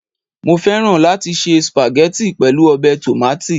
Mo fẹ́ràn láti se spaghetti pẹ̀lú ọbẹ̀ tòmátì